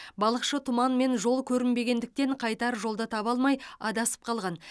балықшы тұман мен жол көрінбегендіктен қайтар жолды таба алмай адасып қалған